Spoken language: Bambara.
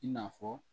I n'a fɔ